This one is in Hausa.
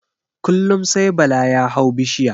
Kullum sai bala ya hau bishiya